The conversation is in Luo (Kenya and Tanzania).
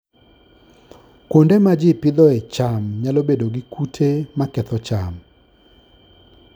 Kuonde ma ji Pidhooe cham nyalo bedo gi kute maketho cham